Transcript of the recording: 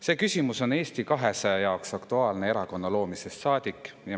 See küsimus on Eesti 200 jaoks aktuaalne erakonna loomisest saadik.